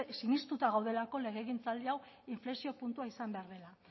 sinistuta gaudelako legegintzaldi hau inflexio puntua izan behar dela